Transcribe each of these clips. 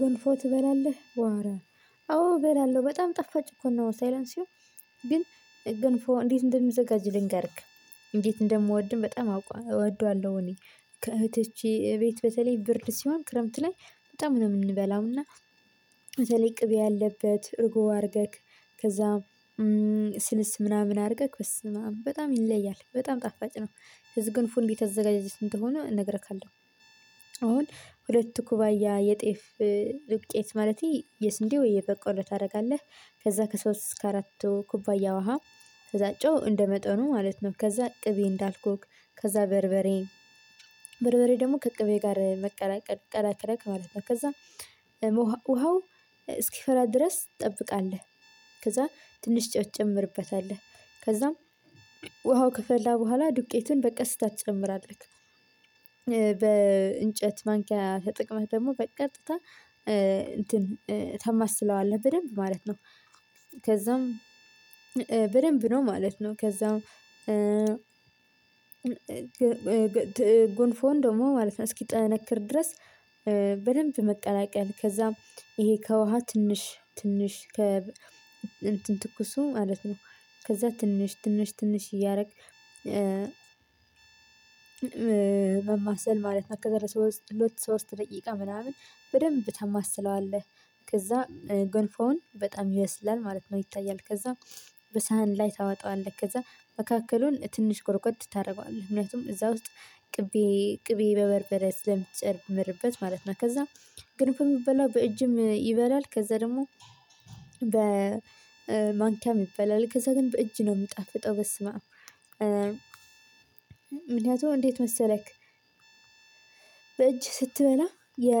ግንፎ ትበላለህ ዋረ አዎ እበላለሁ በጣም ጣፋጭ እኮ ነው። ሳይላንሲው። ግን ገንፎ እንዴት እንደምዘጋጅ ልንገርክ። እንዴት እንደምወድም በጣም እወደዋለሁ። እኔ ከእህቶቼ ቤት በተለይ ብርድ ሲሆን ክረምት ላይ በጣም ነው የምንበላው እና። በተለይ ቅቤ ያለበት እርጎ አርገክ ከዛ ስልስ ምናምን አድርገህ በስመአም በጣም ይለያል በጣም ጣፋጭ ነው። ገንፎ እንዴት አዘገጃጀት እንደሆነ እነግርሃለሁ። አሁን ሁለት ኩባያ የጤፍ ዱቄት ማለቴ የስንዴ ወይ የበቆለ ታደርጋለህ። ከዛ ከሶስት እስከ አራት ኩባያ ውሃ ከዛ ጨው እንደመጠኑ ማለት ነው። ከዛ ቅቤ እንዳልኩክ ከዛ በርበሬ በርበሬ ደግሞ ከቅቤ ጋር መቀላቀል ቀላቅለክ ማለት ነው። ከዛ ውሃው እስኪፈላ ድረስ ትጠብቃለህ። ከዛ ትንሽ ጨው ትጨምርበታለህ ከዛም ውሃው ከፈላ በኋላ ዱቄትን በቀስታ ትጨምራለህ። በእንጨት ማንኪያ ተጠቅመህ ደግሞ በቀጥታ እንትን ታማስለዋለህ በደንብ ማለት ነው። ከዛም በደንብ ነው ማለት ነው ከዛም ጎንፎን ደግሞ ማለት ነው እስኪጠነክር ድረስ። በደንብ መቀላቀል ከዛም ይሄ ከውሃ ትንሽ ትንሽ ከ እንትን ትኩሱ ማለት ነው። ከዛ ትንሽ ትንሽ ትንሽ እያረክ ማማሰል ማለት ነው። ከዛ ለሶስት ሁለት ሶሰት ደቂቃ ምናምን በደንብ ታማስለዋለህ። ከዛ ገንፎውን በጣም ይበስላል ማለት ነው ይታያል ከዛ በሳህን ላይ ታወጣዋለህ። ከዛ መካከሉን ትንሽ ጎርጎድ ታደርገዋለህ ምክንያቱም እዛ ውስጥ ቅቤ ቅቤ በበርበሬ ስለምትጨምርበት ማለት ነው። ከዛ ግን እኮ ሚበላው በእጅም ይበላል ከዛ ደግሞ በማንኪያም ይበላል ከዛ ግን በእጅ ነው የምጣፍጠው በስመአብ። ምክንያቱም እንዴት መሰለክ በእጅ ስትበላ የ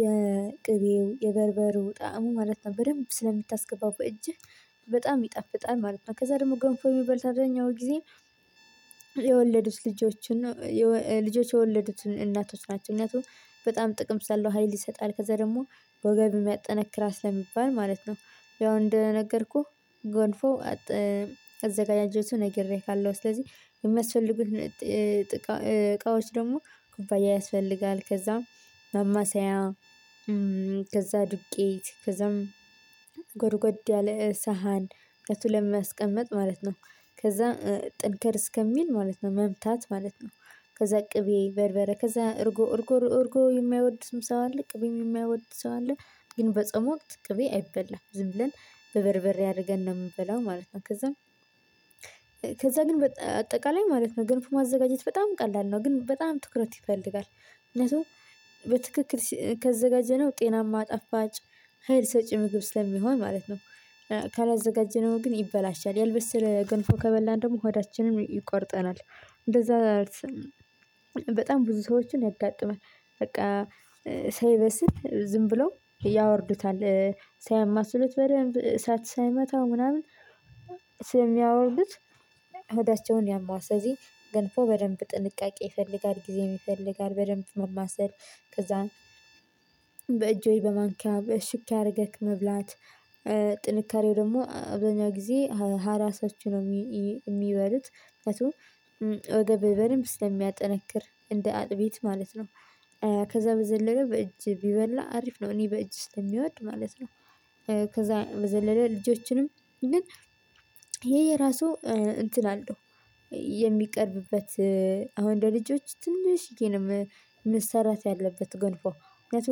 የቅቤው የበርበሩ ጣዕሙ ማለት ነው በደንብ ስለምታስገባው በእጅህ በጣም ይጣፍጣል ማለት ነው። ከዛ ደግሞ ገንፎ የሚበሉት አብዛኛው ጊዜ የወለዱት ልጆችን ነው ልጆች የወለዱትን እናቶች ናቸው። ምክንያቱም በጣም ጥቅም ስላለው ሀይል ይሰጣል ከዛ ደግሞ ወገብም ያጠነክራል ስለሚባል ማለት ነው። ያው እንደነገርኩህ ገንፎ አዘጋፈገጃጀቱ ነግሬሃለሁ። ስለዚህ የሚያስፈልጉት እቃዎች ደግሞ ኩባያ ያስፈልጋል ከዛም ማማሰያ ከዛ ዱቄት ከዛም ጎድጎድ ያለ ሳህን ምክንያቱ ለማስቀመጥ ማለት ነው ከዛ ጥንከር እስከሚል ማለት ነው መምታት ማለት ነው። ከዛ ቅቤ በርበሬ ከዛ እርጎ እርጎ እርጎ የማያወድም ሰው አለ ቅቤም የሚያወድ ሰው አለ። ግን በጾም ወቅት ቅቤ አይበላም ዝም ብለን በበርበሬ አድርገን ነው ምንበላው ማለት ነው። ከዛም ከዛ ግን በአጠቃላይ ማለት ነው ገንፎ ማዘጋጀት በጣም ቀላል ነው ግን በጣም ትኩረት ይፈልጋል። ምክንያቱም በትክክል ካዘጋጀነው ጤናማ ጣፋጭ ሀይል ሰጪ ምግብ ስለሚሆን ማለት ነው። ካላዘጋጀነው ግን ይበላሻል ያልበሰለ ገንፎ ከበላን ደግሞ ሆዳችንን ይቆርጠናል። እንደዛ በጣም ብዙ ሰዎችን ያጋጥማል በቃ ሳይበስል ዝም ብለው ያወርዱታል። ሳያማስሉት በደንብ እሳት ሳይመታው ምናምን ስለሚያወርዱት ሆዳቸውን ያመዋል። ስለዚህ ገንፎ በደንብ ጥንቃቄ ይፈልጋል ጊዜም ይፈልጋል በደንብ ማማሰል። ከዛም በማንኪያ በሹኪያ አርገክ መብላት ጥንካሬው ደግሞ አብዛኛው ጊዜ ሀራሶች ነው። ሚበሉት ምክንያቱም ወገብ በደንብ ስለሚያጠነክር እንደ አጥቢት ማለት ነው። ከዛ በዘለለ በእጅ ቢበላ አሪፍ ነው እኔ በእጅ ስለሚወድ ማለት ነው። ከዛ በዘለለ ልጆችንም ግን ይሄ የራሱ እንትን አለው። የሚቀርብበት አሁን ለልጆች ትንሽዬ ነው መሰራት ያለበት ጎንፎ ምክንያቱ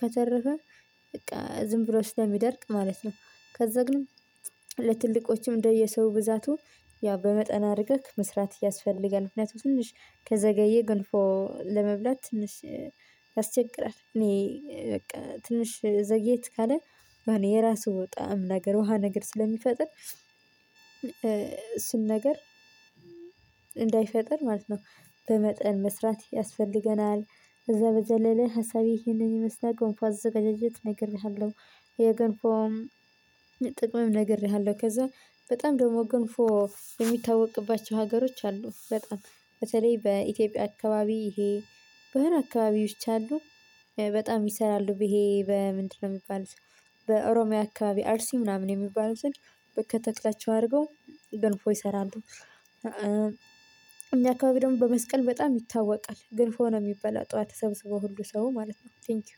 ከተረፈ በቃ ዝም ብሎ ስለሚደርቅ ማለት ነው። ከዛ ግን ለትልቆችም እንደየሰው ብዛቱ ያው በመጠን አድርገህ መስራት ያስፈልጋል። ምክንያቱም ትንሽ ከዘገየ ገንፎ ለመብላት ትንሽ ያስቸግራል። እኔ በቃ ትንሽ ዘግየት ካለ የራሱ ጣዕም ነገር ውሃ ነገር ስለሚፈጥር እሱን ነገር እንዳይፈጥር ማለት ነው። በመጠን መስራት ያስፈልገናል። ከዛ በዘለለ ሀሳቤ ይህንን የመስራት ጎንፎ አዘገጃጀት ነግሬሃለሁ። የ ገንፎ ጥቅምም ነግሬሀለው። ከዛ በጣም ደግሞ ገንፎ የሚታወቅባቸው ሀገሮች አሉ። በጣም በተለይ በ ኢትዮጽያ አካባቢ ይሄ በሆነ አካባቢዎች አሉ በጣም ይሰራሉ ይሄ በምንድነው ሚባለው? በኦሮሚያ አካባቢ አርሲ ምናምን የሚባለው ስል በከተክላቸው አድርገው ገንፎ ይሰራሉ። እኛ አካባቢ ደግሞ በመስቀል በጣም ይታወቃል ገንፎ ነው ሚበላ ጠዋት ተሰብስቦ ሁሉ ሰው ማለት ነው ቴንኪው